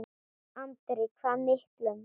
Andri: Hvað miklum?